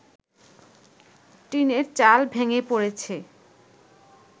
টিনের চাল ভেঙে পড়েছে